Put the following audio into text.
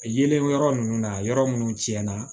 Yeelen yɔrɔ ninnu na yɔrɔ minnu tiɲɛna